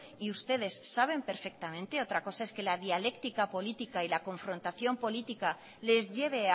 y ustedes saben perfectamente otra cosa es que la dialéctica política y la confrontación política les lleve